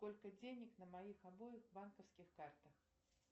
сколько денег на моих обоих банковских картах